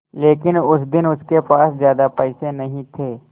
लेकिन उस दिन उसके पास ज्यादा पैसे नहीं थे